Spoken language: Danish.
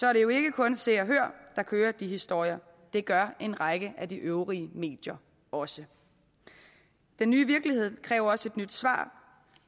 er det jo ikke kun se og hør der kører de historier det gør en række af de øvrige medier også den nye virkelighed kræver også et nyt svar